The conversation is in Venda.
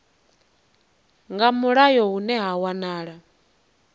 nga mulayo hune ha wanala